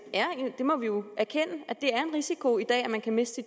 må jo erkende at det er en risiko i dag at man kan miste